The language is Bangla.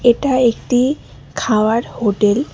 এটা একটি খাওয়ার হোটেল ।